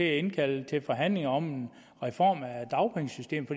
indkalde til forhandlinger om reformer af dagpengesystemet